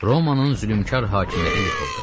Romanın zülümkar hakimiyyəti yıxıldı.